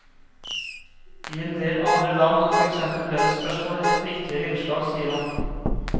I en del andre land er for eksempel lønnsspørsmål et viktigere innslag, sier han.